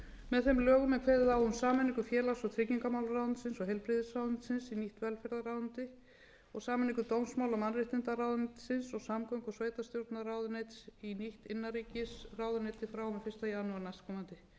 með þeim lögum er kveðið á um sameiningu félags og tryggingamálaráðuneytisins og heilbrigðisráðuneytisins í nýtt velferðarráðuneyti og sameiningu dómsmála og mannréttindaráðuneytisins og samgöngu og sveitarstjórnarráðuneytis í nýtt innanríkisráðuneyti frá og með fyrsta janúar næstkomandi